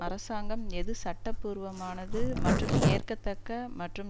அரசாங்கம் எது சட்ட பூர்வமானது மற்றும் ஏற்கத்தக்க மற்றும்